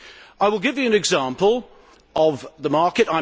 I will give you an example of the market.